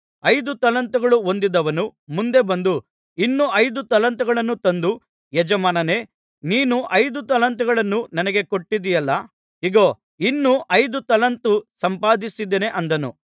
ಐದು ತಲಾಂತುಗಳು ಹೊಂದಿದವನು ಮುಂದೆ ಬಂದು ಇನ್ನೂ ಐದು ತಲಾಂತುಗಳನ್ನು ತಂದು ಯಜಮಾನನೇ ನೀನು ಐದು ತಲಾಂತಗಳನ್ನು ನನಗೆ ಕೊಟ್ಟಿದ್ದೆಯಲ್ಲಾ ಇಗೋ ಇನ್ನು ಐದು ತಲಾಂತು ಸಂಪಾದಿಸಿದ್ದೇನೆ ಅಂದನು